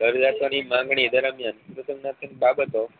જરૂરિયાતો ની માંગણી દરમિયાન